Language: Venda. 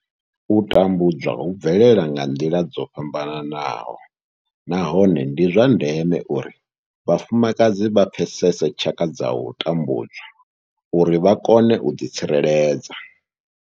U tambudzwa hu bvelela nga nḓila dzo fhambanaho nahone ndi zwa ndeme uri vhafumakadzi vha pfesese tshaka dza u tambudzwa uri vha kone u ḓi tsireledza.